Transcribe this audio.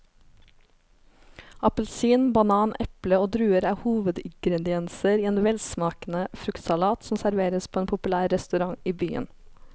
Appelsin, banan, eple og druer er hovedingredienser i en velsmakende fruktsalat som serveres på en populær restaurant i byen.